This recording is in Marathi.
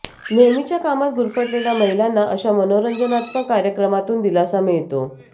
नेहमीच्या कामात गुरफटलेल्या महिलांना अशा मनोरंजनात्मक कार्यक्रमातून दिलासा मिळतो